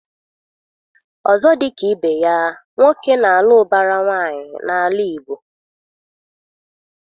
Ọzọ dị ka ibe ya, nwoke na-alụ ụbara nwaanyị n'ala Igbo.